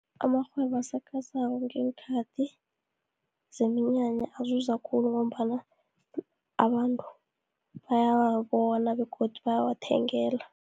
Amarhwebo asakhasako, ngeenkhathi zeminyanya azuza khulu, ngombana abantu bayawabona begodu bayawathengela.